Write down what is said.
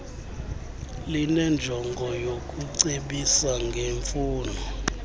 linenjongo yokucebisa ngemfuno